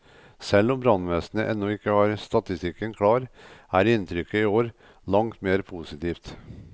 Selv om brannvesenet ennå ikke har statistikken klar, er inntrykket i år langt mer positivt.